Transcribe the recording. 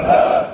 Sağ!